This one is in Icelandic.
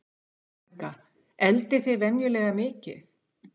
Helga: Eldið þið venjulega mikið?